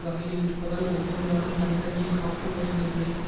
வகையில் இருப்பதால் ஒவ்வொரு நாடும் தனி தனியே காப்பு வரி நிர்ணியிக்கும்